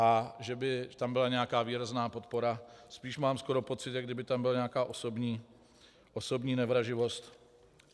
A že by tam byla nějaká výrazná podpora - spíš mám skoro pocit, jako kdyby tam byla nějaká osobní nevraživost.